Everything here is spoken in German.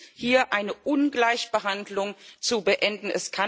Es gilt hier eine Ungleichbehandlung zu beenden.